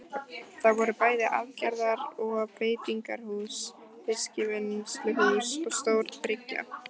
Það voru bæði aðgerðar- og beitingarhús, fiskvinnsluhús og stór bryggja.